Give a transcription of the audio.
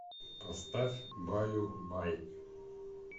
поставь баю бай